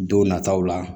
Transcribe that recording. Don nataw la